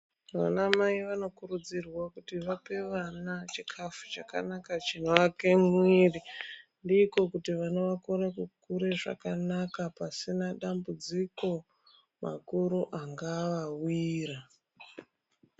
Vana Mai vanokurudzirwa kuti vape vana chikafu chakanaka chivake muviri ndiko kuti vana vakure kukure zvakanaka pasina matambudziko akuru angavawira